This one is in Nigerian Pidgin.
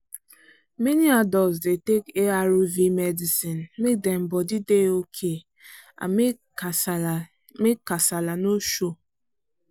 many adults dey take arv medicine make dem body dey okay and make kasala make kasala no show.